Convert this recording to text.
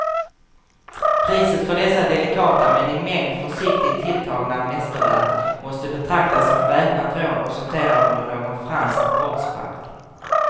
Priset för dessa delikata men i mängd försiktigt tilltagna mästerverk måste betraktas som väpnat rån och sortera under någon fransk brottsbalk.